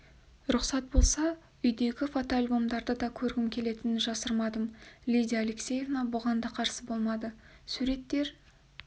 рұқсат болса бұл үйдегі фотоальбомдарды да көргім келетінін жасырмадым лидия алексеевна бұған да қарсы болмады суреттер